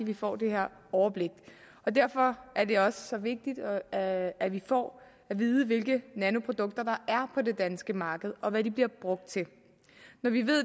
vi får det her overblik derfor er det også så vigtigt at at vi får at vide hvilke nanoprodukter der er på det danske marked og hvad de bliver brugt til når vi